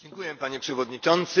Panie Przewodniczący!